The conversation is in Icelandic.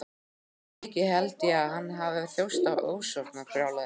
Fyrir vikið held ég að hann hafi þjáðst af ofsóknarbrjálæði.